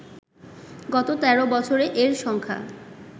গত ১৩ বছরে এর সংখ্যা